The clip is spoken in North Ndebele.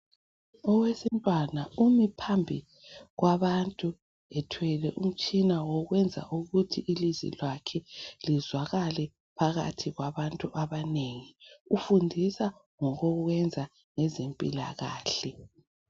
Owesintwana umi phambi kwabantu ethwele umtshina wokwenza ukuthi ilizwi lakhe lizwakale phakathi kwabantu abanengi. Ufundisa ngokokwenza ngezimpilakahle